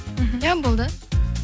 мхм иә болды